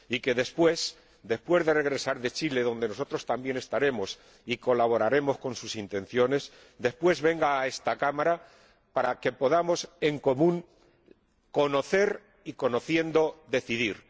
Y que después, después de regresar de Chile, donde nosotros también estaremos y colaboraremos con sus intenciones, venga a esta Cámara para que podamos conocer y, conociendo, decidir.